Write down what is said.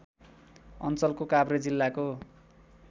अञ्चलको काभ्रे जिल्लाको